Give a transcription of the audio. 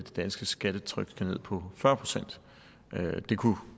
danske skattetryk skal ned på fyrre procent det kunne